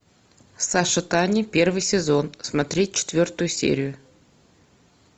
саша таня первый сезон смотреть четвертую серию